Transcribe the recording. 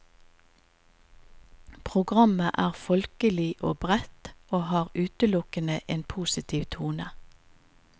Programmet er folkelig og bredt og har utelukkende en positiv tone.